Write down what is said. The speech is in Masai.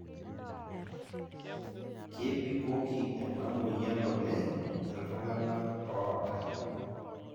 kebikoki ena moyian oleng ltunganak oota.